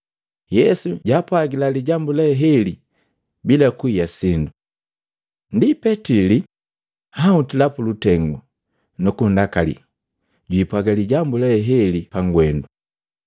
Yesu jaapwagila lijambu lee heli bila kuhiya sindu. Ndi Petili anhutila pulutengu nukunndakali jwipwaga lijambu le heli pagwendu.